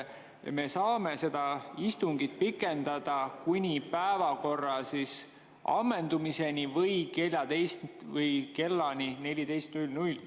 Me saame istungit pikendada kuni päevakorra ammendumiseni või kella 14.00‑ni.